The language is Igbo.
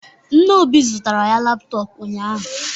Nna Obi zụtara ya laptop ụnyahụ